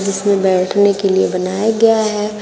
इसमें बैठने के लिए बनाया गया है।